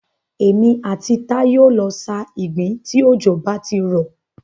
Èmi àti Táyé o lọ sa ìgbín tí òjò bá ti rọ̀.